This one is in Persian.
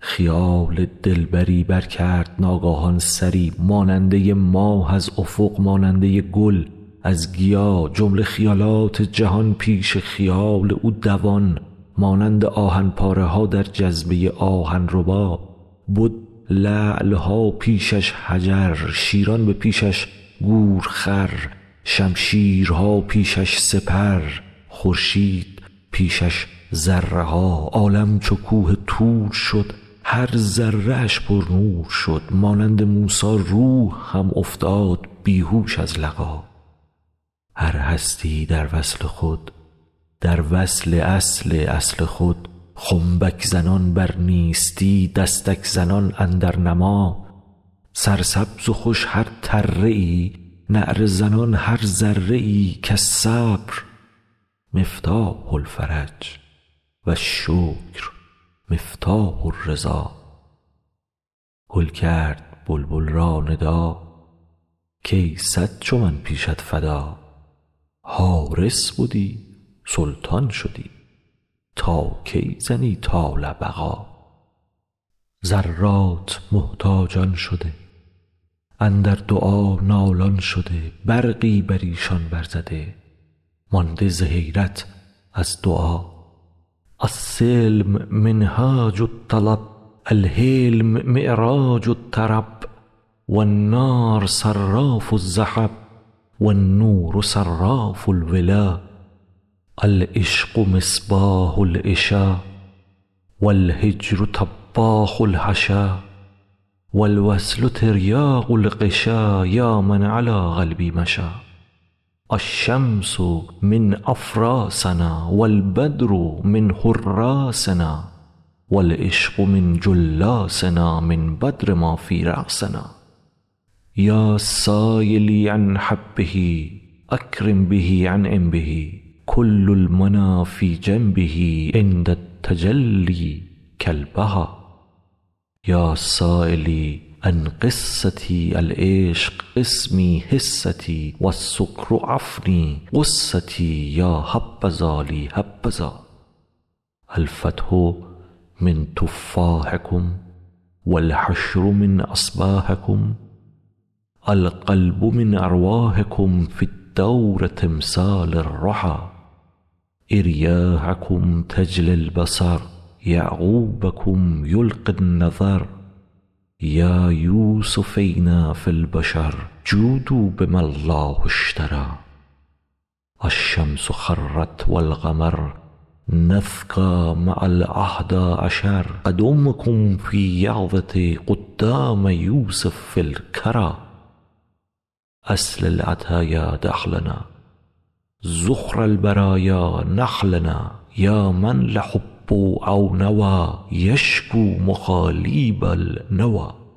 خیال دلبری برکرد ناگاهان سری ماننده ی ماه از افق ماننده ی گل از گیا جمله خیالات جهان پیش خیال او دوان مانند آهن پاره ها در جذبه آهن ربا بد لعل ها پیش اش حجر شیران به پیش اش گورخر شمشیرها پیش اش سپر خورشید پیش اش ذره ها عالم چو کوه طور شد هر ذره اش پرنور شد مانند موسی روح هم افتاد بی هوش از لقا هر هستی ای در وصل خود در وصل اصل اصل خود خنبک زنان بر نیستی دستک زنان اندر نما سرسبز و خوش هر تره ای نعره زنان هر ذره ای کالصبر مفتاح الفرج و الشکر مفتاح الرضا گل کرد بلبل را ندا کای صد چو من پیشت فدا حارس بدی سلطان شدی تا کی زنی طال بقا ذرات محتاجان شده اندر دعا نالان شده برقی بر ایشان برزده مانده ز حیرت از دعا السلم منهاج الطلب الحلم معراج الطرب و النار صراف الذهب و النور صراف الولا العشق مصباح العشا و الهجر طباخ الحشا و الوصل تریاق الغشا یا من علی قلبی مشا الشمس من افراسنا و البدر من حراسنا و العشق من جلاسنا من یدر ما فی راسنا یا سایلی عن حبه اکرم به انعم به کل المنی فی جنبه عند التجلی کالهبا یا سایلی عن قصتی العشق قسمی حصتی و السکر افنی غصتی یا حبذا لی حبذا الفتح من تفاحکم و الحشر من اصباحکم القلب من ارواحکم فی الدور تمثال الرحا اریاحکم تجلی البصر یعقوبکم یلقی النظر یا یوسفینا فی البشر جودوا بما الله اشتری الشمس خرت و القمر نسکا مع الاحدی عشر قدامکم فی یقظه قدام یوسف فی الکری اصل العطایا دخلنا ذخر البرایا نخلنا یا من لحب او نوی یشکوا مخالیب النوی